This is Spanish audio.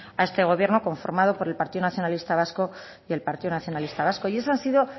a este gobierno conformado por el partido nacionalista vasco y el partido nacionalista vasco y esa ha sido